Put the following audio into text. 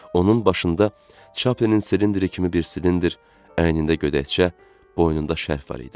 Onun başında Chaplinin silindiri kimi bir silindr, əynində gödəkçə, boynunda şərf var idi.